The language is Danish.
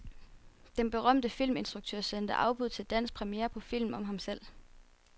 Den berømte filminstruktør sender afbud til dansk premiere på film om ham selv.